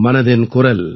மனதின் குரல்